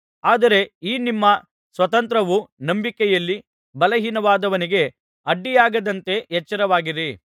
ಆದರೆ ಈ ನಿಮ್ಮ ಸ್ವಾತಂತ್ರ್ಯವು ನಂಬಿಕೆಯಲ್ಲಿ ಬಲಹೀನನಾದವನಿಗೆ ಅಡ್ಡಿಯಾಗದಂತೆ ಎಚ್ಚರವಾಗಿರಿ